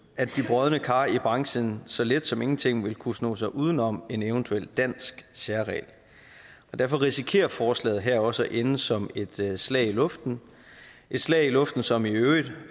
at de brodne kar i branchen så let som ingenting vil kunne snog sig uden om en eventuel dansk særregel derfor risikerer forslaget her også at ende som et slag slag i luften et slag i luften som i øvrigt